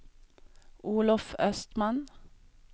Olof Östman